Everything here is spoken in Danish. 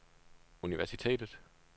universitetet